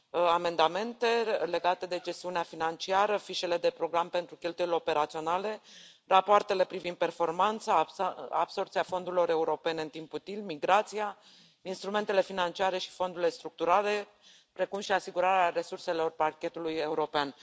amendamente legate de gestiunea financiară, fișele de program pentru cheltuielile operaționale, rapoartele privind performanța, absorbția fondurilor europene în timp util, migrația, instrumentele financiare și fondurile structurale, precum și asigurarea resurselor Parchetului european.